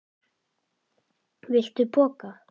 Viltu poka?